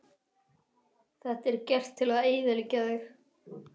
Þetta er gert til að eyðileggja þig